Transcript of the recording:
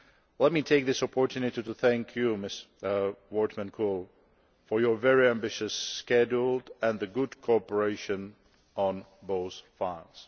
Let me take this opportunity to thank you, Ms Wortmann Kool, for your very ambitious schedule and the good cooperation on those files.